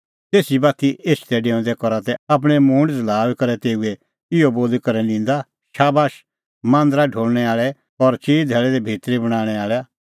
तेसी बाती एछदैडेऊंदै करा तै आपणैं मूंड झ़ल़ाऊई करै तेऊए इहअ बोली करै निंदा शाबाश मांदरा ढोल़णैं आल़ैआ और चिई धैल़ी भितरी बणांणैं आल़ैआ